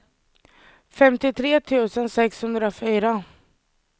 femtiotre tusen sexhundrafyra